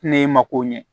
Ne ma ko ɲɛ